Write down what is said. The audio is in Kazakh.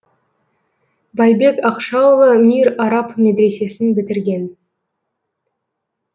байбек ақшаұлы мир араб медресесін бітірген